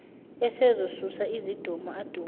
esezosusa izidumo adume